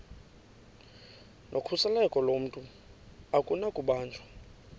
nokhuseleko lomntu akunakubanjwa